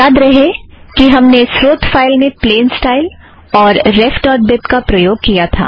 याद करें कि हमने स्रोत फ़ाइल में प्लेन स्टाइल और रेफ़ ड़ॉट बीब का प्रयोग किया था